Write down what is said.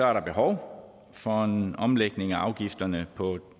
er der behov for en omlægning af afgifterne på